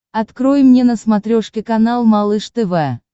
открой мне на смотрешке канал малыш тв